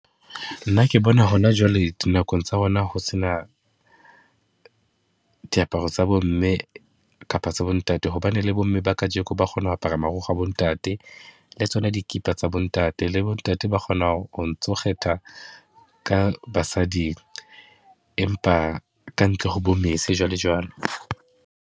Nna ke bona hona jwale, dinakong tsa hona ho se na diaparo tsa bo mme kapo tsa bo ntate. Hobane le bomme ba kajeko ba kgona ho apara marukgwe a bo ntate, le tsona dikipa tsa bo ntate. Le bo ntate ba kgona ho ntso kgetha ka basading, empa ka ntle ho bo mese jwalojwalo.